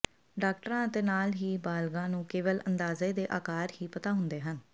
ਡਾਕਟਰਾਂ ਅਤੇ ਨਾਲ ਹੀ ਬਾਲਗਾਂ ਨੂੰ ਕੇਵਲ ਅੰਦਾਜ਼ੇ ਦੇ ਆਕਾਰ ਹੀ ਪਤਾ ਹੁੰਦੇ ਹਨ